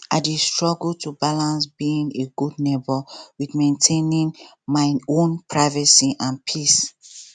i dey struggle to balance being a a good neighbor with maintaining my own privacy and peace.